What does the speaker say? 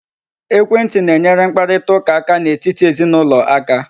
Ekwentị na-enyere mkparitaụka aka n'etiti ezinụlọ aka.